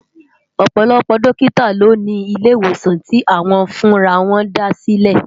Òpòlòpò dòkitá lò ni ilé iwósán ti áwòn fún àrà wòn dásilè